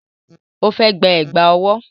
Ó fẹ́ gba Ẹ̀gbá ọwọ́